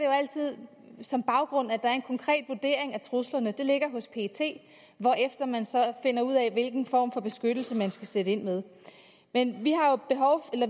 jo altid som baggrund at der er en konkret vurdering af truslerne det ligger hos pet hvorefter man så finder ud af hvilken form for beskyttelse man skal sætte ind med men